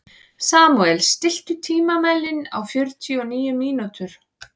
Samúel, stilltu tímamælinn á fjörutíu og níu mínútur.